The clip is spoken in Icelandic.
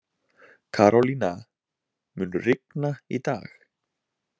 Karolína, mun rigna í dag?